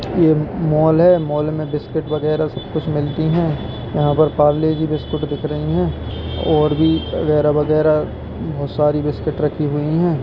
Mall है mall में बिस्कुट वगैरा सब कुछ मिलती है यहां पर पार्ले-जी बिस्कुट दिख रही है और भी वगैरा-वगैरा बहुत सारी बिस्कुट रखी हुई है।